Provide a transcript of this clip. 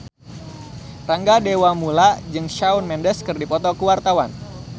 Rangga Dewamoela jeung Shawn Mendes keur dipoto ku wartawan